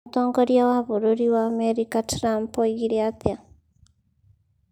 Mũtongoria wa bũrũri wa Amerika, Trump oigire atĩa?